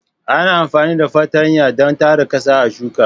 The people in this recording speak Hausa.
Ana amfani da fartanya don tara ƙasa a shuka.